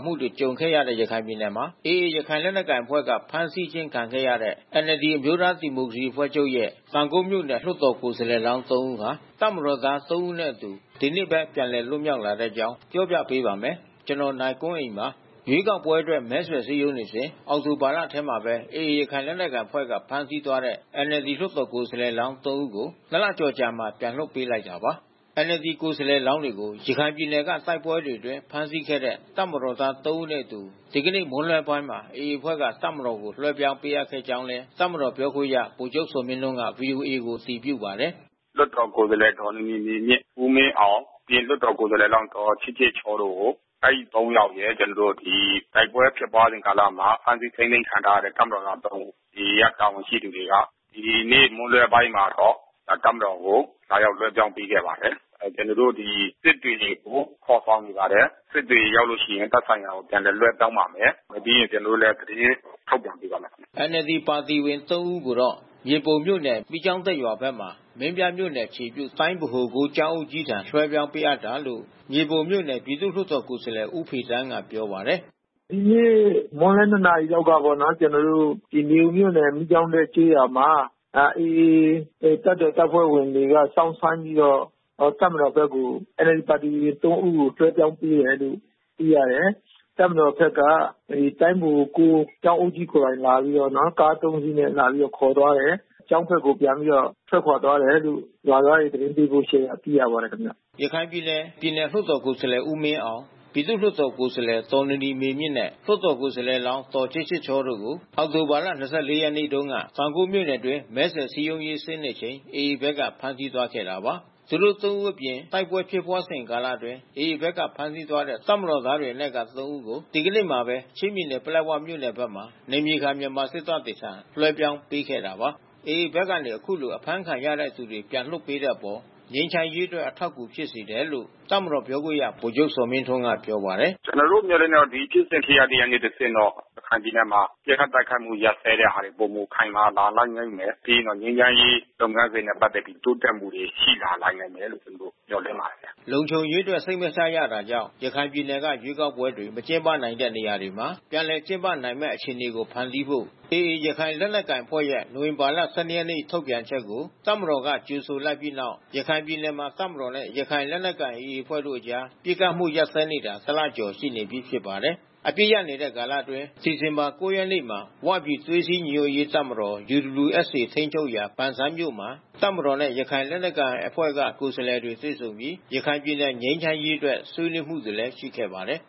မှုတွေ ကြုံခဲ့ရတဲ့ ရခိုင်ပြည်နယ်မှာ AA ရခိုင်လက်နက်ကိုင် အဖွဲ့က ဖမ်းဆီးခံခဲ့ရတဲ့ NLD အမျိုးသားဒီမိုကရေစီ အဖွဲ့ချုပ်ရဲ့ တောင်ကုတ်မြို့နယ် လွှတ်တော်ကိုယ်စားလှယ် ၃ ဦးဟာ၊ တပ်မတော်သား ၃ ဦးနဲ့အတူ ဒီနေ့ပဲ ပြန်လည်လွတ်မြောက်လာတဲ့အကြောင်း ပြောပြပေးပါမယ်။ ဒီအကြောင်းကို ဗွီအိုအေမြန်မာပိုင်းသတင်းထောက် ကိုနိုင်ကွန်းအိန်က ပြောပြပေးပါမယ်။ ရွေးကောက်ပွဲအတွက် မဲဆွယ်စည်းရုံးနေစဉ် အောက်တိုဘာထဲမှာပဲ AA လက်နက်ကိုင်အဖွဲ့က ဖမ်းဆီးသွားတဲ့ NLD လွှတ်တော် ကိုယ်စားလှယ်လောင်း ၃ ဦးကို ၂ လကျော်အကြာမှာ ပြန်လွှတ်ပေးလိုက်တာပါ။ NLD ကိုယ်စားလှယ်လောင်းတွေကို ရခိုင်ပြည်နယ်က တိုက်ပွဲတွေအတွင်း ဖမ်းဆီးခဲ့တဲ့ တပ်မတော်သား ၃ ဦးနဲ့အတူ ဒီကနေ့မွန်းလွဲပိုင်းမှာပဲ AAအဖွဲ့က တပ်မတော်ကို လွှဲပြောင်းပေးအပ်ခဲ့ကြောင်းလည်း တပ်မတော်ပြောခွင့်ရ ဗိုလ်ချုပ် ဇော်မင်းထွန်းကဗွီအိုအေကို အတည်ပြုပါတယ်။ “လွှတ်တော်ကိုယ်စားလှယ် ဒေါ်နီနီမေမြင့်၊ ဦးမင်းအောင်၊ ပြီးရင်လွှတ်တော်ကိုယ်စားလှယ်လောင်း ဒေါ်ချစ်ချစ်ချောတို့ကို အဲဒီ ၃ ယောက်ရယ်၊ ပြီးရင်တိုက်ပွဲဖြစ်ပွါးစဉ်ကာလမှာ ဖမ်းဆီးထိန်းသိမ်းခံထားရတဲ့ တပ်မတော်သား ၃ ဦး AA က တာဝန်ရှိသူတွေက ဒီနေ့မွန်းလွှဲပိုင်းမှာတော့ တပ်မတော်ကို လာရောက်လွှဲပြောင်းပေးခဲ့ပါတယ်။ ကျနော်တို့ ဒီ စစ်တွေကိုခေါ်ဆောင်နေပါတယ်။ စစ်တွေရောက်လို့ရှိရင် သက်ဆိုင်ရာကို ပြန်လည်လွှဲပြောင်းပါမယ်။ ပြီးရင် ကျနော်တို့လည်း သတင်းထုတ်ပြန်ပေးပါမယ်။” NLD ပါတီဝင် ၃ ဦးကိုတော့ မြေပုံမြို့နယ် မီးကျောင်းတက်ရွာဘက်မှာ မင်းပြားမြို့နယ်အခြေပြု တိုင်းဗဟို ၉ ကျောင်း အုပ်ကြီးထံ လွှဲပြောင်းပေးတာလို့ မြေပုံမြို့နယ်ပြည်သူ့လွှတ်တော်ကိုယ်စားလှယ်ဦးဖေသန်းကပြောပါတယ်။ “ဒီနေ့ မွန်းလွှဲ ၂ နာရီလောက်ကပေါ့နော်။ ကျနော်တို့ မြေပုံမြို့နယ်မီးကျောင်းတက်ကျေးရွာမှာ AA တပ်တော်တပ်ဖွဲ့ဝင်တွေက စောင့်ဆိုင်းပြီးတော့ တပ်မတော်ဘက်ကို NLD ပါတီဝင် ၃ ဦးကို လွှဲပြောင်းပေးတယ်လို့ သိရတယ်။ တပ်မတော်ဘက်က တိုင်းဗဟို ၉ ကျောင်းအုပ်ကြီးကိုယ်တိုင် ကား ၃ စီးနဲ့ လာပြီးတော့ခေါ်သွားတယ်။ ကျောင်းဘက်ကို ပြန်ပြီးတော့ ထွက်ခွါသွားတယ်လို့ ရွာသားတွေ သတင်းပေးပို့ချက်အရ သိရပါတယ်။” ရခိုင်ပြည်နယ်ပြည်နယ်လွှတ်တော်ကိုယ်စားလှယ် ဦးမင်းအောင် ပြည်သူ့လွှတ်တော်ကိုယ်စားလှယ်ဒေါ်နီနီမေမြင့်နဲ့ လွှတ်တော်ကိုယ်စားလှယ်လောင်း ဒေါ်ချစ်ချစ်ချောတို့ကို အောက်တိုဘာ ၂၄ ရက်နေ့တုန်းက AA ဘက်က ဖမ်းဆီးသွားခဲ့တာပါ။ သူတို့ ၃ ဦးအပြင်တိုက်ပွဲဖြစ်ပွါးစဉ်ကာလအတွင်း AA ဘက်က ဖမ်းဆီးသွားတဲ့တပ်မတော်သားတွေအနက်က ၃ ဦး ကို ဒီကနေ့မှာပဲ ချင်းပြည်နယ် ပလက်ဝမြို့နယ်ဘက်မှာ နယ်မြေခံမြန်မာစစ်တပ်တွေထံ လွှဲပြောင်းပေးခဲ့တာပါ။ AA ဘက်ကနေ အခုလို အဖမ်းခံရတဲ့သူတွေ ပြန်လည်လွှတ်ပေးတဲ့အပေါ် ငြိမ်းချမ်းရေးအတွက် အထောက်အကူ ဖြစ်စေတယ်လို့ တပ်မတော်ပြောခွင့်ရ ဗိုလ်ချုပ် ဇော်မင်းထွန်းကဗွီအိုအေကိုပြောပါတယ်။ “ကျနော်တို့ မျှော်လင့်တာကတော့ ဒီဖြစ်စဉ်ဖြစ်ရပ်တွေကနေတဆင့်တော့ ရခိုင်ပြည်နယ်မှာ ပစ်ခတ်တိုက်ခိုက်မှု ရပ်စဲတဲ့ဟာတွေ ပိုမိုခိုင်မာလာလိမ့်မယ်။ ပြီးရင်တော့ငြိမ်းချမ်းရေးလုပ်ငန်းစဉ်နဲ့ ပတ်သက်ပြီး တိုးတက်မှုတွေ ရှိလာနိုင်လိမ့်မယ်လို့ ကျနော်တို့ မျှော်လင့်ပါတယ်။” လုံခြုံရေးအတွက် စိတ်မချရတာကြောင့် ရခိုင်ပြည်နယ်က ရွေးကောက်ပွဲတွေ မကျင်းပနိုင်ခဲ့တဲ့ နေရာတွေမှာ ပြန်လည် ကျင်းပနိုင်မယ့် အခြေအနေတွေ ဖန်တီးဖို့ AA ရခိုင်လက်နက်ကိုင်အဖွဲ့ရဲ့ နိုဝင်ဘာ ၁၂ ရက်နေ့ ထုတ်ပြန်ချက်ကို တပ်မတော်က ကြိုဆိုလိုက်ပြီးနောက် ရခိုင်ပြည်နယ်မှာ တပ်မတော်နဲ့ရခိုင်လက်နက်ကိုင် AA အဖွဲ့တို့ အကြားပစ်ခတ်မှုရပ်စဲနေတာ တလကျော်ရှိနေပြီဖြစ်ပါတယ်။ အပစ်ရပ်နေတဲ့ကာလအတွင်း ဒီဇင်ဘာ ၉ ရက်နေ့မှာ “ဝ” ပြည် သွေးစည်းညီညွှတ်ရေးတပ်မတော် (UWSA) ထိန်းချုပ်ရာ ပန်ဆန်းမြို့မှာ တပ်မတော်နဲ့ AA ရခိုင်လက်နက်ကိုင်အဖွဲ့က ကိုယ်စားလှယ်တွေ တွေ့ဆုံပြီး ရခိုင်ပြည်နယ် ငြိမ်းချမ်းရေးအတွက် ဆွေးနွေးမှုတွေလည်း ရှိခဲ့ပါတယ်